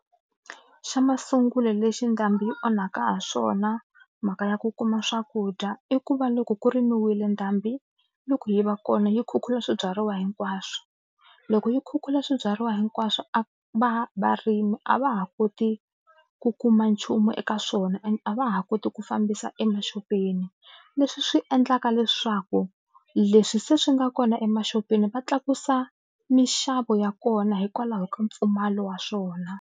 Xa masungulo lexi ndhambi yi onhaka ha swona mhaka ya ku kuma swakudya i ku va loko ku rimiwile ndhambiloko yi va kona yi khukhula swibyariwa hinkwaswo loko yi khukhula swibyariwa hinkwaswo a va varimi a va ha koti ku kuma nchumu eka swona and a va ha koti ku fambisa emaxopeni leswi swi endlaka leswaku leswi se swi nga kona emaxopeni va tlakusa minxavo ya kona hikwalaho ka mpfumalo wa swona.